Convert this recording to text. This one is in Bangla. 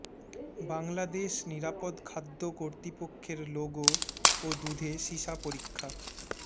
বাংলাদেশ নিরাপদ খাদ্য কর্তৃপক্ষের লোগো ও দুধে সীসা পরীক্ষা